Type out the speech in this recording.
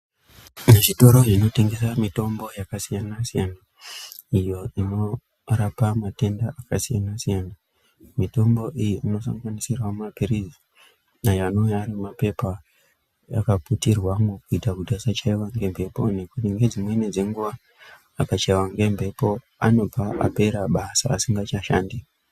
Muuzvitoro zvinotengesa mitombo yakasiyana-siyana iyo inorapa matenda akasiyana-siyana. Mitombo iyi inosanganisira maphiritsi ayo anenge ane maphepha, akaputirwamo kuitira kuti asachaiwa ngemhepo, ngekuti dzimweni dzenguva akachaiwa ngemhepo anova apera basa asingachashandi.